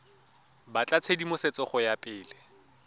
batla tshedimosetso go ya pele